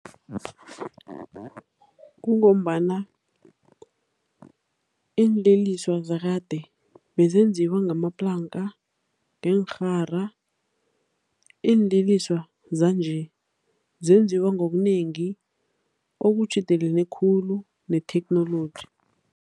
Kungombana iinleliso zakade bezenziwa ngamaplanka, ngeenrhara. Iinliliswa zanje zenziwa ngokunengi okutjhidelene khulu netheknoloji.